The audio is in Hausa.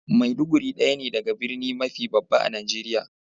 Maiduguri daya ne daga birni mafi babba a'Nijeriya.